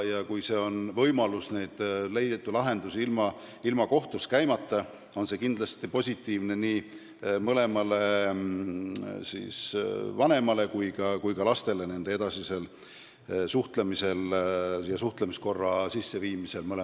Kui on võimalus leida lahendus ilma kohtus käimata, siis on see kindlasti positiivne nii mõlemale vanemale kui ka lastele nende edasise suhtlemise ja mõlema vanemaga suhtlemise korra sisseviimise mõttes.